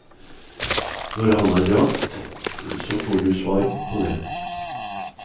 Når han har dratt så får du svar på det.